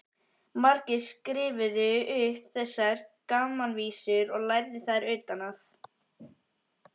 Margir skrifuðu upp þessar gamanvísur og lærðu þær utan að.